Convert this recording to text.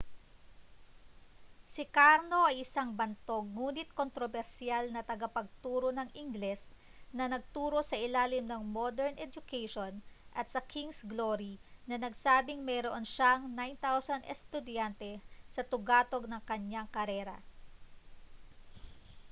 si karno ay isang bantog ngunit kontrobersiyal na tagapagturo ng ingles na nagturo sa ilalim ng modern education at sa king's glory na nagsabing mayroon siyang 9,000 estudyante sa tugatog ng kanyang karera